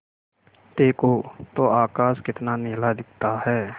देखो तो आकाश कितना नीला दिखता है